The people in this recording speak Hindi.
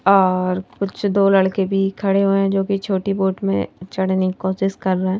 और कुछ दो लड़के भी खड़े हुए हैं जो कि छोटी बोट में चढ़ने की कोशिश कर रहे हैं।